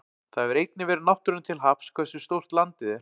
Það hefur einnig verið náttúrunni til happs hversu stórt landið er.